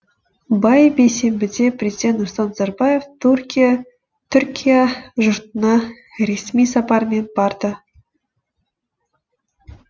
бай бейсенбіде президент нұрсұлтан назарбаев түркия жұртына ресми сапармен барды